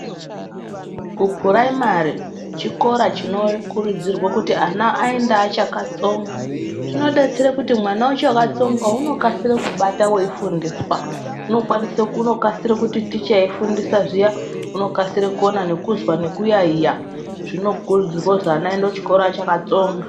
Kuphuraimari chikora chinokurudzirwa kuti ana aende achakatsonga . Zvinodetsere kuti mwana wacho uchakatsonga ,unokasire kubata weifundiswa .Unokwanise, unokasire kuti ticha eifundisa zviya, unokasire kukona nekuzwa nekuyaiya. Zvinokurudzirwe kuti ana aende kuchikora achakatsonga.